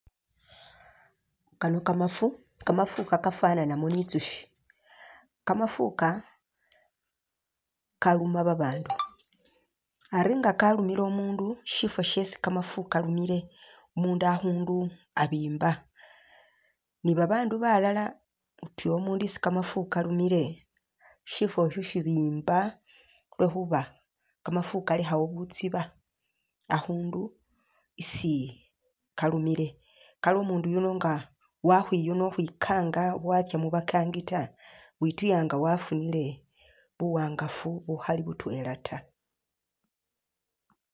Kano kamafu kamafu Kano kafananamo ni ntsushi, kamafu ka kaluma babaandu Ari nga kalumile umundu shifo shesi kamafu kalumile umundu akhundu abimba ni babaandu balala utuya isi kamafu kalumile shifosho shibimba lwekhuba kamafu kalekhawo butsiba akhundu isi kalumile kale umundu yuuno nga wakhwiyuna khukhwinkanga watsa mubankangi taa wituya nga wafunile buwangafu bukhali butwela taa